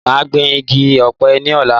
Mo máa gbìn igi Ọ̀pẹ ní ọ̀la